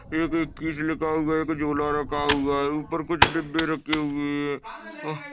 एक इक्कीस लिखा हुआ है झूला रखा हुआ है उपर कुछ डिब्बे रखे हुए है और --